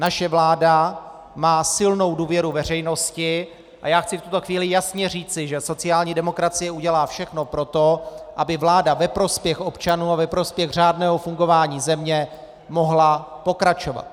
Naše vláda má silnou důvěru veřejnosti a já chci v tuto chvíli jasně říci, že sociální demokracie udělá všechno pro to, aby vláda ve prospěch občanů a ve prospěch řádného fungování země mohla pokračovat.